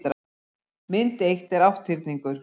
mynd eitt er átthyrningur